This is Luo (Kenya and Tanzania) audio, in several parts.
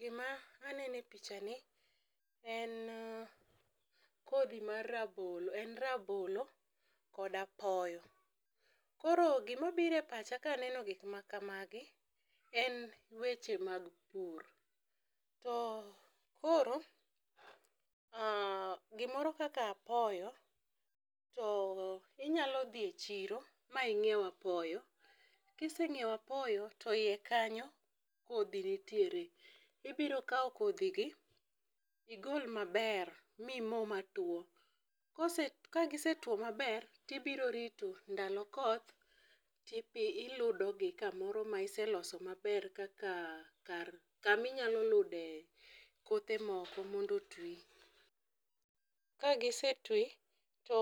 Gima aneno e pichani, en kodhi mar rabolo, en rabolo koda apoyo. Koro gima obiro e pacha kaneno gikma kamagi, en weche mag pur. To koro gimoro kaka apoyo to inyalo dhie chiro ma ing'ieu apoyo. Kiseng'ieu apoyo to iye kanyo kodhi nitiere. Ibiro kao kodhigi igol maber mimo matuo. Ka gisetuo maber, tibiro rito ndalo koth, tiludogi kamoro maiseloso maber kaka kaminyalo lude kothe moko mondo otwi. Ka gisetwi, to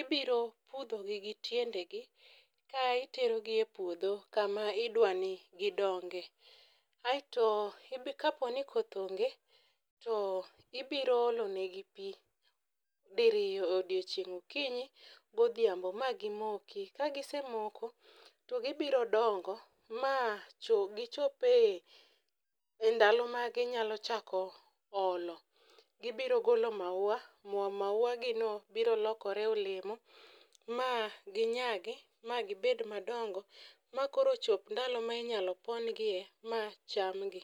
ibiro pudhogi gi tiendegi ka iterogi e puodho kama idwani gidonge. Aito kaponi koth onge to ibiro olo negi pii diriyo e odi ochieng', okinyi godhiambo magimoki. Ka gisemoko to kibiro dongo, ma gichope e ndalo maginyalo chako olo. Gibiro golo maua, maua gino biro lokore olemo. Ma ginyagi ma gibed madongo, makoro chop ndalo ma inyalo pon gie machamgi.